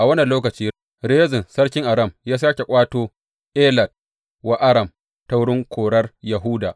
A wannan lokaci, Rezin sarkin Aram ya sāke ƙwato Elat wa Aram ta wurin korar Yahuda.